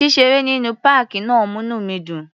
Ṣíṣeré nínú páàkì náà múní mi dùn.